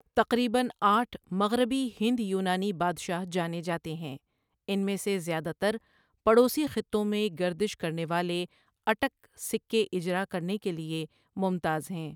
تقریباً آٹھ 'مغربی' ہند یونانی بادشاہ جانے جاتے ہیں، ان میں سے زیادہ تر پڑوسی خطوں میں گردش کرنے والے اٹک سکے اجرا کرنے کےلۓ ممتاز ہیں۔